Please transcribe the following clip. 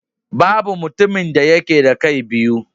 Babu mutumin da yake da kai biyu.